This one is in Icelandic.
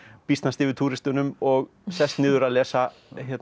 býsnast yfir túristunum og sest niður að lesa